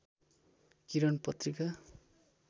किरण पत्रिका